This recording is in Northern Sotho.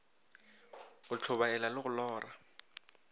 go tlhobaela le go lora